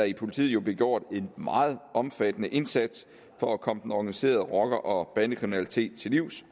i politiet bliver gjort en meget omfattende indsats for at komme den organiserede rocker og bandekriminalitet til livs